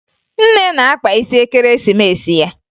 Nne na-akpa isi Ekeresimesi ya